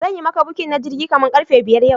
Zanyi maka booking na jirgi kaman karfe biyar yau